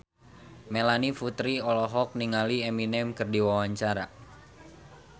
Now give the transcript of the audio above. Melanie Putri olohok ningali Eminem keur diwawancara